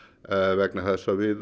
vegna þess að við